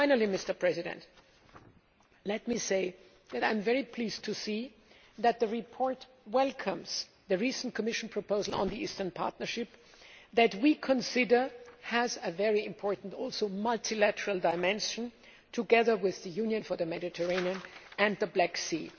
Finally, let me say that I am very pleased to see that the report welcomes the recent Commission proposal on the Eastern Partnership, which we consider has a very important multilateral dimension, together with the Union for the Mediterranean and the Black Sea.